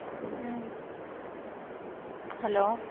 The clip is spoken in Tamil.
உம் hello